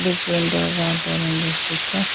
Big windows are there in this picture.